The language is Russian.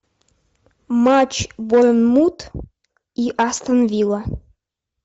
матч борнмут и астон вилла